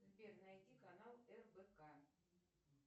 сбер найди канал рбк